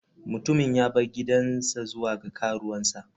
Mutumin ya bar gidansa zuwa ga karuwansa.